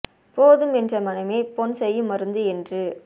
போதும் என்ற மனமே பொன் செய்யும் மருந்து என்று